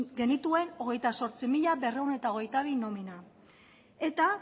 genituen hogeita zortzi mila berrehun eta hogeita bi nomina eta